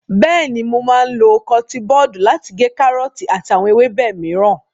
Bẹ́ẹ̀ni, mo máa lo kọtiin bọdu lati gé kárọ́ọ̀tì àti àwọn ewébẹ̀ mìíràn.